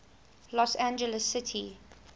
los angeles city